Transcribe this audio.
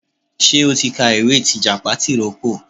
Ṣé o ti ka ìwé tìjàpá tìrókò.